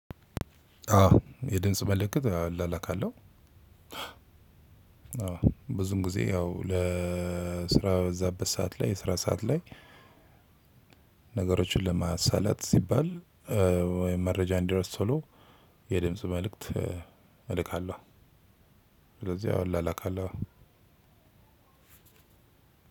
አዎ የድምጽ መልእክት አላላካለሁ። አዎ ብዙን ጊዜ ያው ለ ስራ በበዛበት ሰዓት ላይ የስራ ሰዓትላይ- ነገሮችን ለማሳለጥ ሲባል ወይም መረጃ እንዲደርስ ቶሎ የድምጽ መልእክት እልካለሁ። ስለዚህ ያው እላላካለሁ።